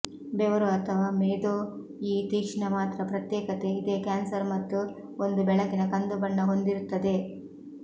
ಬೆವರು ಅಥವಾ ಮೇದೋ ಈ ತೀಕ್ಷ್ಣ ಮಾತ್ರ ಪ್ರತ್ಯೇಕತೆ ಇದೇ ಕ್ಯಾನ್ಸರ್ ಮತ್ತು ಒಂದು ಬೆಳಕಿನ ಕಂದು ಬಣ್ಣ ಹೊಂದಿರುತ್ತವೆ